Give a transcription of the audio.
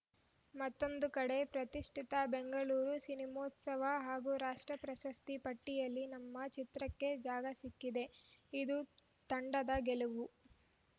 ಮತ್ತೊಂದು ಕಡೆ ಪ್ರತಿಷ್ಠಿತ ಬೆಂಗಳೂರು ಸಿನಿಮೋತ್ಸವ ಹಾಗೂ ರಾಷ್ಟ್ರ ಪ್ರಶಸ್ತಿ ಪಟ್ಟಿಯಲ್ಲಿ ನಮ್ಮ ಚಿತ್ರಕ್ಕೆ ಜಾಗ ಸಿಕ್ಕಿದೆ ಇದು ತಂಡದ ಗೆಲುವು